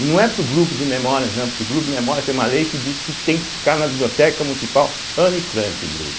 E não é para o grupo de memórias não, porque o grupo de memórias é uma lei que diz que tem que ficar na biblioteca municipal Anne Frank o grupo.